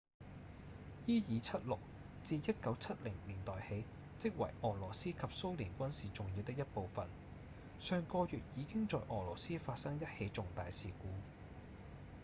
伊爾 -76 自1970年代起即為俄羅斯及蘇聯軍事重要的一部分上個月已經在俄羅斯發生一起重大事故